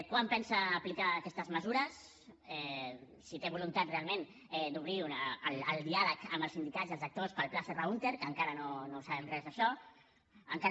quan pensa aplicar aquestes mesures si té voluntat realment d’obrir el diàleg amb els sindicats i els actors pel pla serra húnter que encara no sabem res d’això encara